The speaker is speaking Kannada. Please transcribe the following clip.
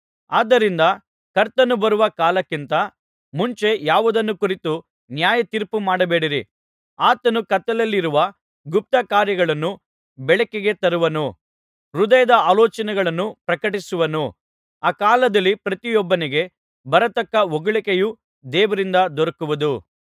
ಆದ್ದರಿಂದ ಕರ್ತನು ಬರುವ ಕಾಲಕ್ಕಿಂತ ಮುಂಚೆ ಯಾವುದನ್ನು ಕುರಿತು ನ್ಯಾಯತೀರ್ಪುಮಾಡಬೇಡಿರಿ ಆತನು ಕತ್ತಲೆಯಲ್ಲಿರುವ ಗುಪ್ತಕಾರ್ಯಗಳನ್ನು ಬೆಳಕಿಗೆ ತರುವನು ಹೃದಯದ ಆಲೋಚನೆಗಳನ್ನು ಪ್ರಕಟಪಡಿಸುವನು ಆ ಕಾಲದಲ್ಲಿ ಪ್ರತಿಯೊಬ್ಬನಿಗೆ ಬರತಕ್ಕ ಹೊಗಳಿಕೆಯು ದೇವರಿಂದ ದೊರಕುವುದು